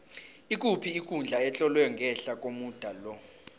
ikuphi ikundla etlolwe ngehla komuda lo